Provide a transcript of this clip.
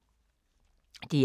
DR1